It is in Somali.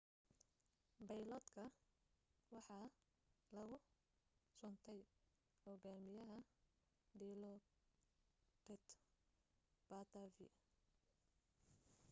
bayloodka waxaa lagu suntay hogaamiyaha dilokrit pattavee